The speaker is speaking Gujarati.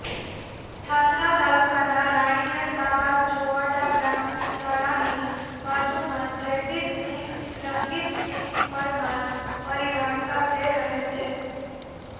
ઠાસરા તાલુકાના રાણિયા તાબે ચોવાડા પ્રાથમિક શાળાની બાજુમાં જયદીપસિંહ રંગીતસિંહ પરમાર પરિવાર સાથે રહે છે